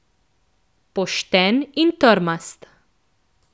Pošten in trmast.